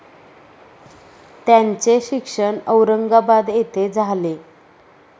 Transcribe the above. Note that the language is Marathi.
त्यांचे शिक्षण औरंगाबाद येथे झाले.